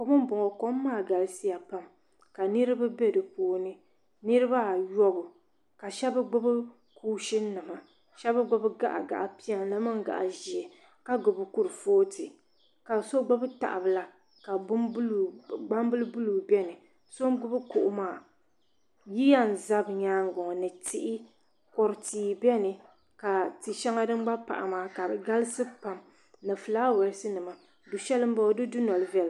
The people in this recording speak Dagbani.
Kom m boŋɔ kom maa galisiya ka niriba be dipuuni niriba ayɔbu ka sheba gbibi kuushini nima shaba gbibi gaɣa gaɣa'piɛlli ni gaɣa'ʒee ka so gbibi tahabila ka gbambila buluu biɛni so n gbibi kuɣu maa tihi kodu tihi biɛni ka ti'sheŋa din pahi maa ka di galisiya pam ni filaawaasi nima du'sheli m boŋɔ di dunoli viɛla.